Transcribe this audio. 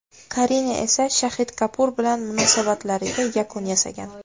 Karina esa Shaxid Kapur bilan munosabatlariga yakun yasagan.